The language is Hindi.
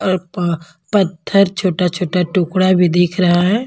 और पत्थर छोटा-छोटा टुकड़ा भी दिख रहा हैं।